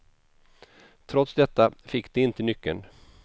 Trots detta fick de inte nyckeln.